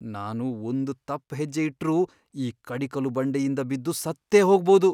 ನಾನು ಒಂದ್ ತಪ್ಪ್ ಹೆಜ್ಜೆ ಇಟ್ರೂ ಈ ಕಡಿಕಲು ಬಂಡೆಯಿಂದ ಬಿದ್ದು ಸತ್ತೇ ಹೋಗ್ಬೋದು.